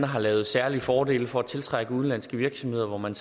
har lavet særlige fordele for at tiltrække udenlandske virksomheder hvor man